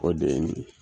O de ye nin ye